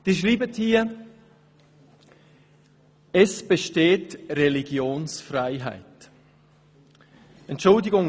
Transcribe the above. Sie schreiben: «Es besteht Religionsfreiheit […]».